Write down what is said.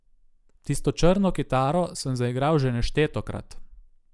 Tisto črno kitaro sem zaigral že neštetokrat.